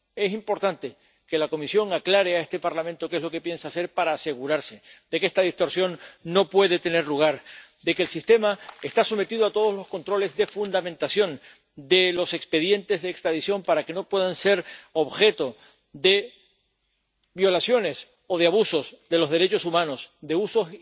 Es importante que la Comisión aclare a este Parlamento que es lo que piensa hacer para asegurarse de que esta distorsión no pueda tener lugar, de que el sistema esté sometido a todos los controles de fundamentación de los expedientes de extradición para que no puedan ser objeto de violaciones o de abusos de los derechos humanos, de usos